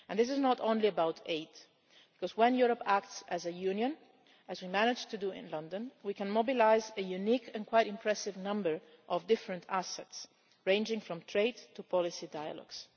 And this is not only about aid, because when Europe acts as a union, as we managed to do in London, we can mobilise a unique and quite impressive number of different assets ranging from trade to policy dialogues.